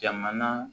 Jamana